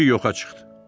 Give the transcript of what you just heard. Kişi yoxa çıxdı.